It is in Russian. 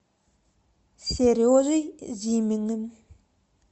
сережей зиминым